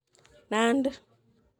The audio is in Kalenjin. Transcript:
Nandi